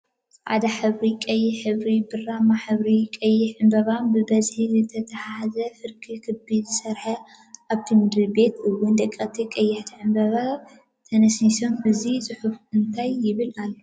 ፃዕዳን ሕብሪን ቀይሕ ሕብሪን ብራማ ሕብርን ቅያሕቲ ዕንበባን ብበዝሒ ዝተትሓዘ ፍርቂ ክቢ ዝሰረሐ ኣብቲ ምድሪ ቤት እውን ደቀቂቲ ቀያሕቲ ዕንበባታት ተነስንሶምን እቱይ ፅሑፍ እንታይ ይብል ኣሎ?